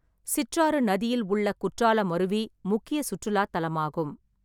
சிற்றாறு நதியில் உள்ள குற்றாலம் அருவி முக்கிய சுற்றுலாத் தலமாகும்.